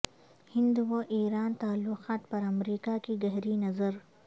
ہند و ایران تعلقات پر امریکہ کی گہری نظر